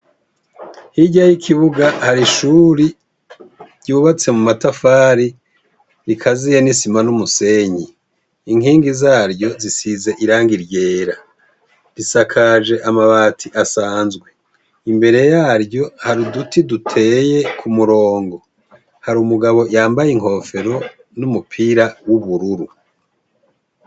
Hirya y'ikibuga hari ishure ryubatse mu matafari rikazuye n'isima n'umusenyi , inkingi zaryo zisize irangi ryera, isakajwe amabati asanzwe, imbere yaryo hari uduti duteye ku murongo, hari umugabo yambaye inkofero n'umupira w'ubururu.